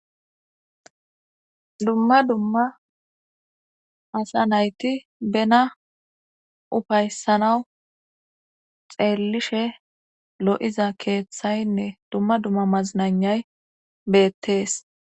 dumma dumma asa nayti bena ufayssanawu xeellishe lo7iza keeththaynne dumma dumma maznanay beettees